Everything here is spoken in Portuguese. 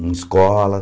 Em escola.